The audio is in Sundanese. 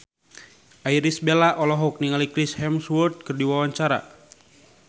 Irish Bella olohok ningali Chris Hemsworth keur diwawancara